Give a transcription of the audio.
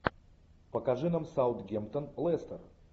покажи нам саутгемптон лестер